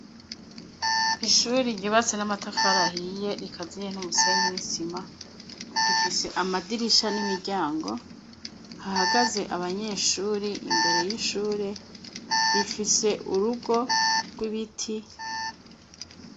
Ishuri ryubatse n'amatafari ahiye rikaziye n'umusenyi n'isima; rifise amadirisha n'imiryango hahagaze abanyeshuri imbere y'ishure; rifise urugo rw'ibiti.